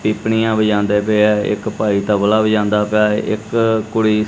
ਪੀਪਣੀਆ ਵਜਾਉਂਦੇ ਪਏ ਐ ਇੱਕ ਭਾਈ ਤਬਲਾ ਵਜਾਂਦਾ ਪਿਆ ਐ ਇੱਕ ਕੁੜੀ--